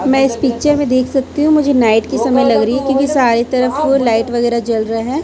मैं इस पिक्चर में देख सकती हूं मुझे नाइट के समय लग रही है क्योंकि सारे तरफ ओ लाइट वगैरा जल रहा है।